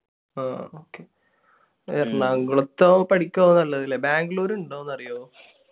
ആ. എറണാകുളത്ത് പഠിക്കുകയാണ് നല്ലത് അല്ലെ? ബാംഗ്ലൂർ ഉണ്ടോ എന്നറിയാമോ?